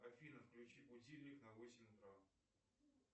афина включи будильник на восемь утра